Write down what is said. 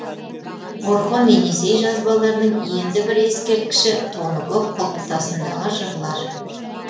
орхон енисей жазбаларының енді бір ескерткіші тоныкөк құлпытасындағы жырлар